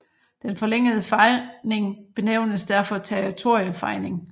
Den forlængede fejning benævnes derfor territoriefejning